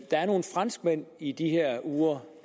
franskmænd i de her uger